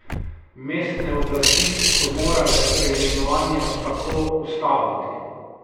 Mestne oblasti so morale preimenovanja tako ustaviti.